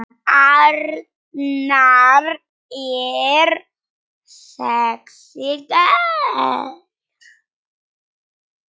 Arnar er sexí gaur.